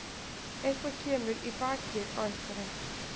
Eitthvað kemur í bakið á einhverjum